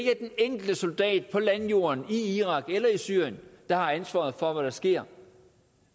enkelte soldat på landjorden i irak eller i syrien der har ansvaret for hvad der sker